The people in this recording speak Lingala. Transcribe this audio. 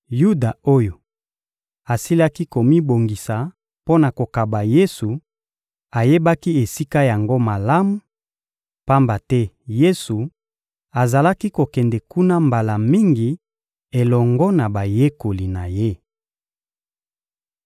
Yuda oyo asilaki komibongisa mpo na kokaba Yesu ayebaki esika yango malamu, pamba te Yesu azalaki kokende kuna mbala mingi elongo na bayekoli na Ye.